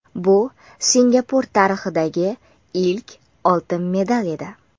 Bu Singapur tarixidagi ilk oltin medal edi.